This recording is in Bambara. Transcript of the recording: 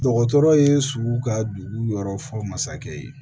Dɔgɔtɔrɔ ye sugu ka dugu yɔrɔ fɔ masakɛ ye